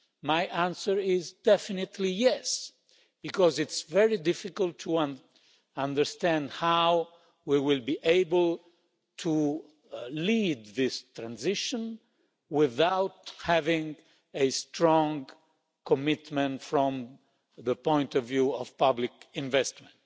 My answer is definitely yes', because it's very difficult to understand how we will be able to lead this transition without having a strong commitment from the point of view of public investment.